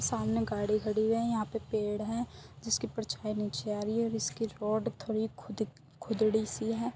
सामने गाड़ी खड़ी है यहा पे पेड़ है जिसकी परछाई नीचे आ रही है जिसकी रोड थोड़ी खुदी खुदड़ी सी है।